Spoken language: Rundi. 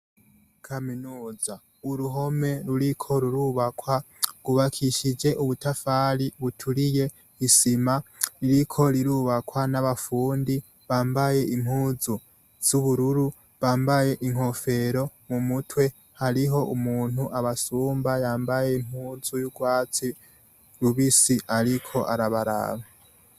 Kaminuza, uruhome ruriko rurubakwa rw'ubakishije ubutafari buturiye n'isima, ririko rurubakwa n'abafundi bambaye impuzu z'ubururu bambaye inkofero mu mutwe hariho umuntu abasumba yambaye impuzu y'urwatsi rubisi ariko arabaraba.